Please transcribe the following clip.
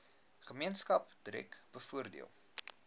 gemeenskap direk bevoordeel